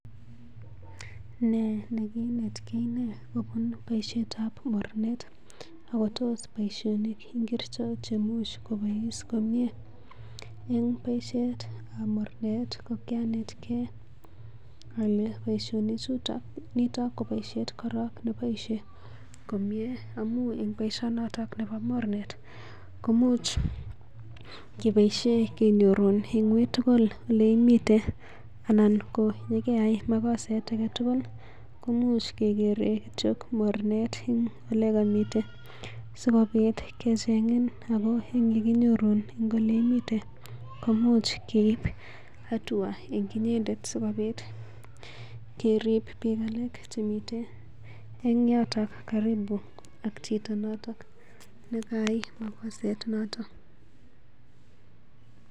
Ne kinetkei kobun boishetab mornet akotos boisionik ngiricho chemuch kobois komnye? En boisietab mornet ko kianetgei ale boisionichuto, nito ko boisiet korong neboisie komye, amun en boisionoto nebo mornet komuch keboisie kenyorun en uitugl ole imiten anan ko yekeyai magoset age tugul, komuch kegere kityo mornet nekemiten si kobit kecheng'en ago ye kinyoru en ole imiten komuch keib hatua en inyendet sikobit kerib biik alak chemiten en yoto karibu ak chito noto nekayai mokoset noto.